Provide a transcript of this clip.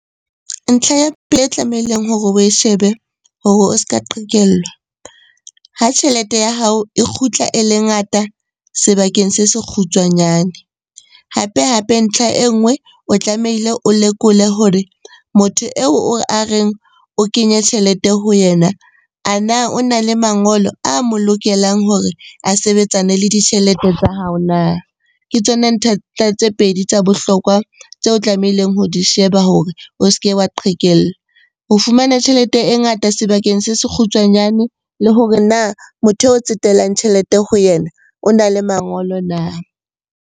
Ntlha ya e tlamehileng hore oe shebe hore o s'ka qhekellwa, ha tjhelete ya hao e kgutla e le ngata sebakeng se se kgutshwanyane. Hape-hape ntlha e nngwe o tlamehile o lekole hore motho eo a reng o kenye tjhelete ho yena, a na o na le mangolo a mo lokelang hore a sebetsane le ditjhelete tsa hao na? Ke tsona tse pedi tsa bohlokwa tseo tlamehileng ho di sheba hore o se ke wa qhekella. Ho fumana tjhelete e ngata sebakeng se se kgutshwanyane le hore na motho eo o tsetelang tjhelete ho yena o na le mangolo na?